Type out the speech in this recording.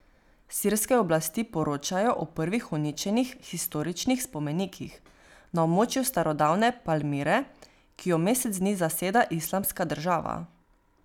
Sirske oblasti poročajo o prvih uničenih historičnih spomenikih na območju starodavne Palmire, ki jo mesec dni zaseda Islamska država.